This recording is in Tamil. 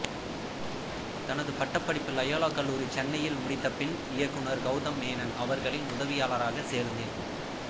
தனது பட்டப்படிப்பு லயோலா கல்லூரி சென்னையில் முடித்தபின் இயக்குனர் கெளதம் மேனன் அவர்களின் உதவியாளராக சேர்ந்தார்